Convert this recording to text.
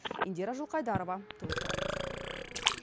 индира жылқайдарова толықтырады